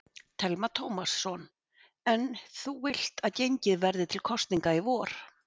Telma Tómasson: En þú vilt að gengið verði til kosninga í vor?